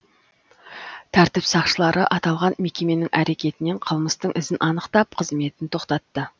тәртіп сақшылары аталған мекеменің әрекетінен қылмыстың ізін анықтап қызметін тоқтатты